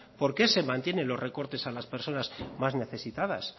por qué se mantienen los recortes a las personas más necesitadas